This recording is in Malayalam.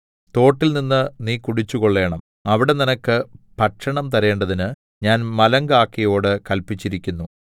തോട്ടിൽനിന്ന് നീ കുടിച്ചുകൊള്ളേണം അവിടെ നിനക്ക് ഭക്ഷണം തരേണ്ടതിന് ഞാൻ മലങ്കാക്കയോട് കല്പിച്ചിരിക്കുന്നു